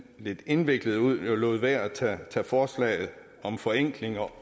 lidt indviklet ud jeg lod være at tage forslaget om forenklinger